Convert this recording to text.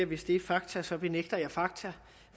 hvis det er fakta så benægter jeg fakta